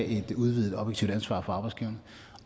et udvidet objektivt ansvar for arbejdsgiverne